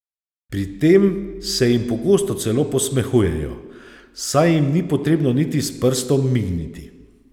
Pri tem se jim pogosto celo posmehujejo, saj jim ni potrebno niti s prstom migniti.